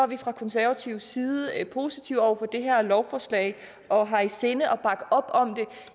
vi fra konservativ side positive over for det her lovforslag og har i sinde at bakke op om det